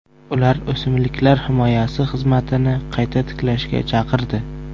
Ular o‘simliklar himoyasi xizmatini qayta tiklashga chaqirdi.